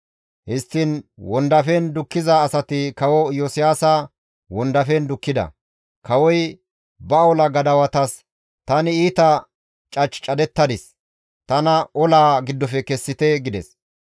Histtiin wondafen dukkiza asati kawo Iyosiyaasa wondafen dukkida; kawoy ba ola gadawatas, «Tani iita cach cadettadis; tana olaa giddofe kessite» gides.